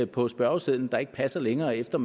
på spørgesedlen der ikke passer længere efter